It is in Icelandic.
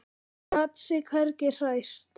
Hún gat sig hvergi hrært.